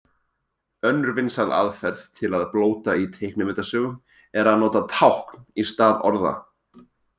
Önnur vinsæl aðferð til að blóta í teiknimyndasögum er að nota tákn í stað orða.